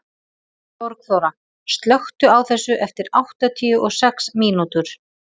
Borgþóra, slökktu á þessu eftir áttatíu og sex mínútur.